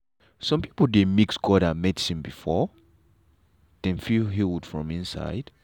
some people dey mix god and medicine before dem feel healed from inside.